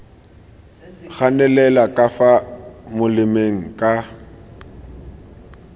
ganelela ka fa molemeng ka